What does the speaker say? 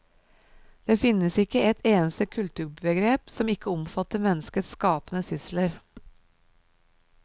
Det finnes ikke et eneste kulturbegrep som ikke omfatter menneskets skapende sysler.